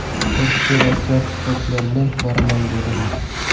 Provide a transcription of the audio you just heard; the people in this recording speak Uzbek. Bir kishi rossiyalik sportchilar bilan boraman, dedi.